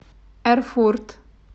эрфурт